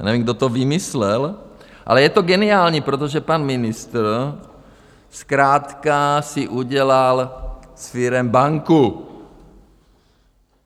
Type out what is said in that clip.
Já nevím, kdo to vymyslel, ale je to geniální, protože pan ministr zkrátka si udělal z firem banku.